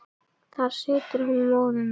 þar situr hún móðir mín